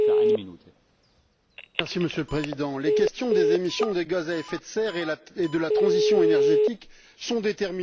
Monsieur le Président, les questions des émissions des gaz à effet de serre et de la transition énergétique sont déterminantes pour l'avenir de notre espèce.